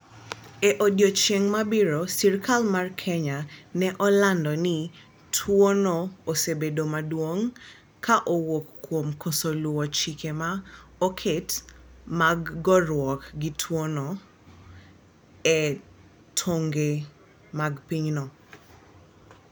e odiechieng ma biro serikal mar Kenya ni landruok mar tuo no osebedo maduong ka owuok kuom koso luo chike ma oket mag gorwuok gi tuo no e tong'e mag pinyno